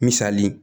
Misali